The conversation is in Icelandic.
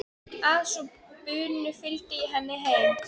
Að svo búnu fylgdi ég henni heim.